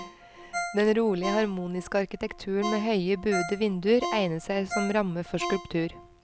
Den rolige, harmoniske arkitekturen med høye, buede vinduer egner seg som ramme for skulptur.